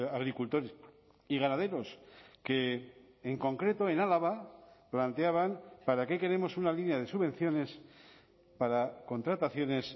agricultores y ganaderos que en concreto en álava planteaban para qué queremos una línea de subvenciones para contrataciones